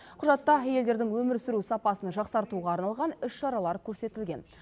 құжатта әйелдердің өмір сүру сапасын жақсартуға арналған іс шаралар көрсетілген